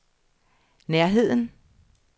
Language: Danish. nærheden